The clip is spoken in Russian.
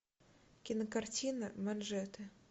кинокартина манжеты